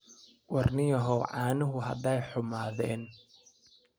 War ninyahow caanuhu haday xumaadeen.